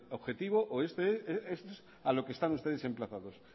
objetivo o esto es a lo que están ustedes emplazados